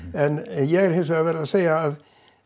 en ég hins vegar verð að segja að